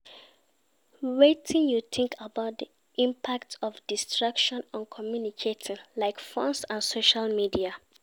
Wetin you think about di impact of distractions on communication, like phones and social media?